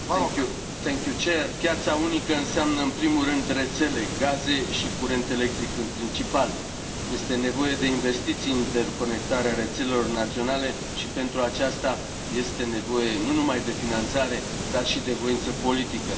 Domnule președinte, piața unică înseamnă în primul rând rețele gaze și curent electric, în principal. Este nevoie de investiții în interconectarea rețelelor naționale și, pentru aceasta, este nevoie nu numai de finanțare, dar și de voință politică.